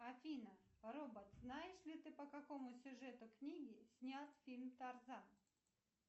афина робот знаешь ли ты по какому сюжету книги снят фильм тарзан